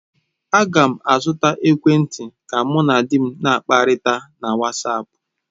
Aga m azụta ekwentị ka mụ na di m na-akpakọrịta na wasapu.